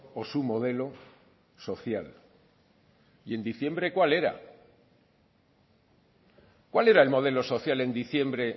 o su modelo social y en diciembre cuál era cuál era el modelo social en diciembre